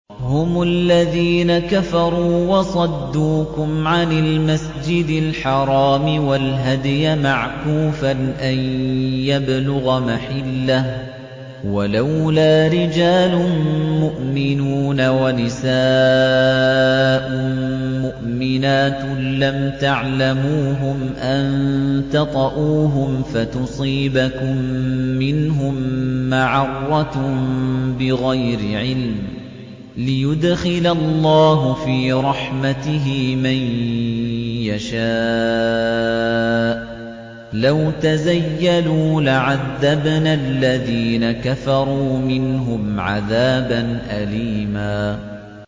هُمُ الَّذِينَ كَفَرُوا وَصَدُّوكُمْ عَنِ الْمَسْجِدِ الْحَرَامِ وَالْهَدْيَ مَعْكُوفًا أَن يَبْلُغَ مَحِلَّهُ ۚ وَلَوْلَا رِجَالٌ مُّؤْمِنُونَ وَنِسَاءٌ مُّؤْمِنَاتٌ لَّمْ تَعْلَمُوهُمْ أَن تَطَئُوهُمْ فَتُصِيبَكُم مِّنْهُم مَّعَرَّةٌ بِغَيْرِ عِلْمٍ ۖ لِّيُدْخِلَ اللَّهُ فِي رَحْمَتِهِ مَن يَشَاءُ ۚ لَوْ تَزَيَّلُوا لَعَذَّبْنَا الَّذِينَ كَفَرُوا مِنْهُمْ عَذَابًا أَلِيمًا